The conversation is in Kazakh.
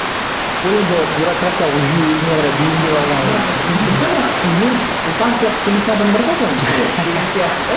ы ол енді бюрократиялық жүйе өзіне қарай бейімдеп алған ғой мен сұлтан сияқты сөйлейтін адамдарға